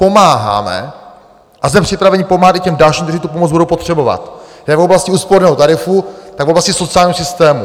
Pomáháme a jsme připraveni pomáhat i těm dalším, kteří tu pomoc budou potřebovat jak v oblasti úsporného tarifu, tak v oblasti sociálního systému.